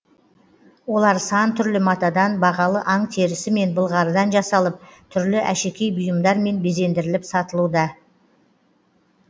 олар сан түрлі матадан бағалы аң терісі мен былғарыдан жасалып түрлі әшекей бұйымдармен безендіріліп сатылуда